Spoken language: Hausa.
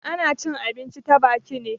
Ana cin abinci ta baki ne.